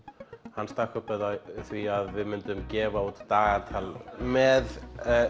hann stakk upp á því að við myndum gefa út dagatal með